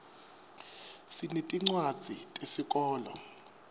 sinetincwadzi tesikolo